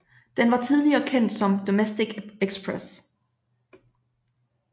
Den var tidligere kendt som Domestic Express